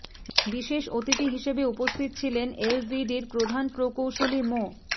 বিশেষ অতিথি হিসেবে উপস্থিত ছিলেন এলজিইডির প্রধান প্রকৌশলী মো